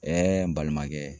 n balimakɛ.